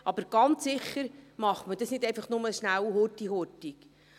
Aber ganz sicher macht man dies nicht einfach schnell, schnell.